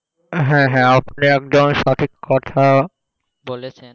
হ্যাঁ হ্যাঁ আপনি একদম সঠিক কথা বলেছেন,